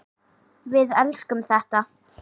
Við elskum þetta.